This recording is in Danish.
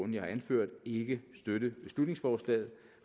jeg har anført ikke støtte beslutningsforslaget